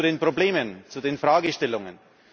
Und jetzt zu den Problemen, zu den Fragestellungen.